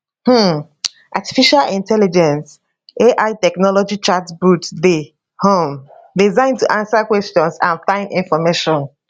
um artificial intelligence ai technology chatbots dey um designed to answer questions and find information